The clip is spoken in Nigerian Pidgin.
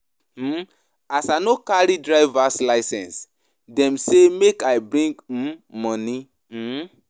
um As I no carry drivers licence, dem say make I bring um money. um